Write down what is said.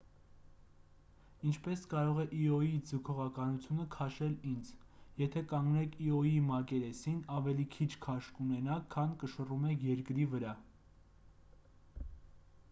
ինչպես կարող է իոյի ձգողականությունը քաշել ինձ եթե կանգնեք իոյի մակերեսին ավելի քիչ քաշ կունենաք քան կշռում եք երկրի վրա